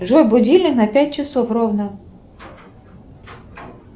джой будильник на пять часов ровно